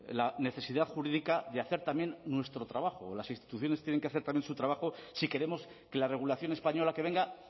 la necesidad jurídica de hacer también nuestro trabajo las instituciones tienen que hacer también su trabajo si queremos que la regulación española que venga